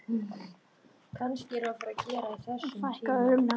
Og þeim árum mun víst ekki fækka, öðru nær.